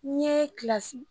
N ye kilasi